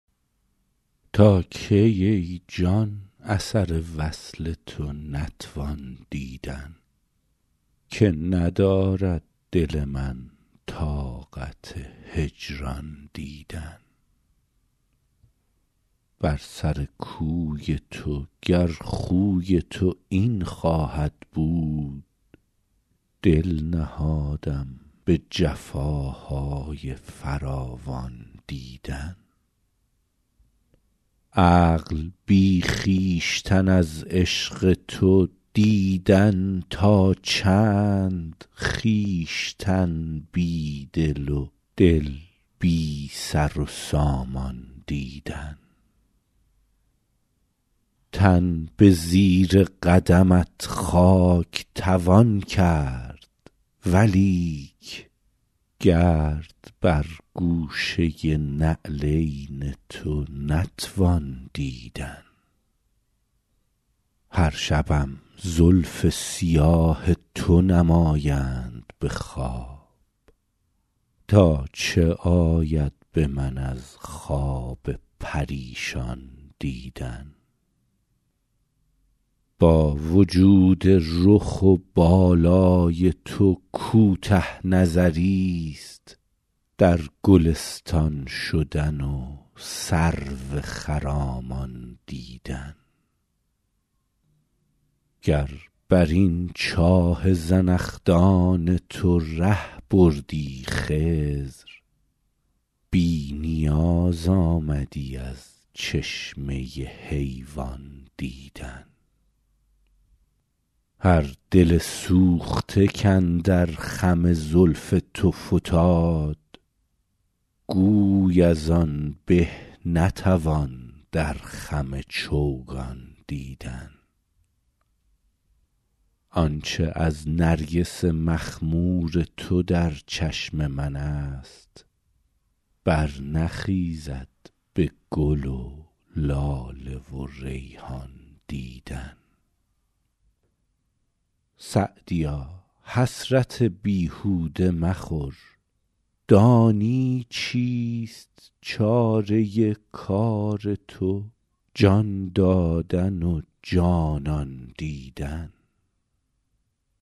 تا کی ای جان اثر وصل تو نتوان دیدن که ندارد دل من طاقت هجران دیدن بر سر کوی تو گر خوی تو این خواهد بود دل نهادم به جفاهای فراوان دیدن عقل بی خویشتن از عشق تو دیدن تا چند خویشتن بی دل و دل بی سر و سامان دیدن تن به زیر قدمت خاک توان کرد ولیک گرد بر گوشه نعلین تو نتوان دیدن هر شبم زلف سیاه تو نمایند به خواب تا چه آید به من از خواب پریشان دیدن با وجود رخ و بالای تو کوته نظریست در گلستان شدن و سرو خرامان دیدن گر بر این چاه زنخدان تو ره بردی خضر بی نیاز آمدی از چشمه حیوان دیدن هر دل سوخته کاندر خم زلف تو فتاد گوی از آن به نتوان در خم چوگان دیدن آن چه از نرگس مخمور تو در چشم من است برنخیزد به گل و لاله و ریحان دیدن سعدیا حسرت بیهوده مخور دانی چیست چاره کار تو جان دادن و جانان دیدن